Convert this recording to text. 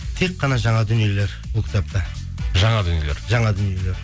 тек қана жаңа дүниелер бұл кітапта жаңа дүниелер жаңа дүниелер